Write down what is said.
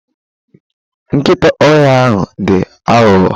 Nkịta ọhịa ahụ dị aghụghọ.